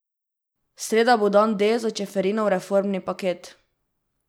Sreda bo dan D za Čeferinov reformni paket.